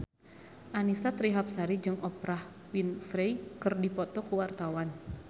Annisa Trihapsari jeung Oprah Winfrey keur dipoto ku wartawan